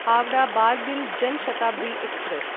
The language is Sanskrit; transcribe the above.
हावडा बार्बिल् जन शताब्दी एक्स्प्रेस्